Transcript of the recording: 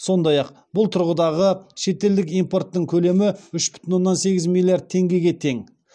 сондай ақ бұл тұрғыдағы шетелдік импорттың көлемі үш бүтін оннан сегіз миллиард теңгеге тең